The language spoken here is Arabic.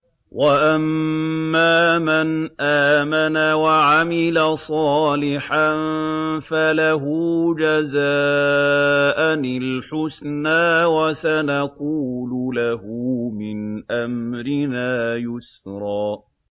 وَأَمَّا مَنْ آمَنَ وَعَمِلَ صَالِحًا فَلَهُ جَزَاءً الْحُسْنَىٰ ۖ وَسَنَقُولُ لَهُ مِنْ أَمْرِنَا يُسْرًا